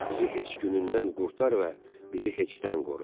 Bizi heç günündən qurtar və bizi heçdən qoru.